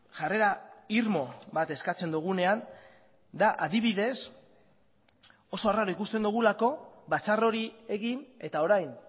jarrera irmo bat eskatzen dugunean adibidez da oso arraro ikusten dugulako batzar hori egin eta orain